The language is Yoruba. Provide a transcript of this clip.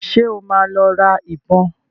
Ṣé ó máa lọ ra ìbọn?